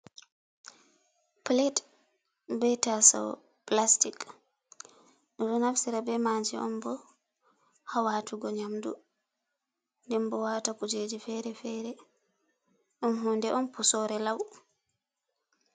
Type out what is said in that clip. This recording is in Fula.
Pilet be tasawo pilastik, ɗum ɗo nafsira be maajum on bo ha waatugo nƴamdu ndenbo waata kuujeji fere-fere, ɗum hunde on puusore lau.